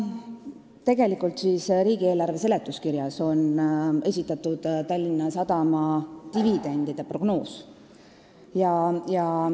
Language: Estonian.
Tänavuse riigieelarve seaduse eelnõu seletuskirjas on esitatud Tallinna Sadama dividendide prognoos.